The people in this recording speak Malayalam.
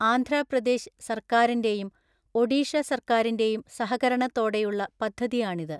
ആന്ധ്രാപ്രദേശ് സർക്കാരിന്റെയും ഒഡീഷ സർക്കാരിന്റെയും സഹകരണത്തോടെയുള്ള പദ്ധതിയാണിത്.